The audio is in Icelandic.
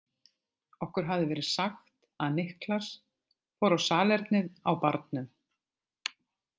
Okkur hafði verið sagt að Niklas fór á salernið á Barnum.